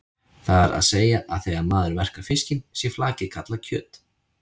Það er að segja að þegar maður verkar fiskinn sé flakið kallað kjöt.